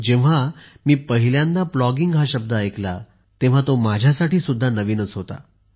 जेव्हा मी पहिल्यांदा प्लॉगींग हा शब्द ऐकला तेव्हा तो माझ्यासाठी सुद्धा नवीन होता